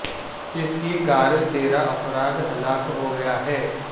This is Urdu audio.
اس کی کار تیرہ افراد ہلاک ہو گیا ہے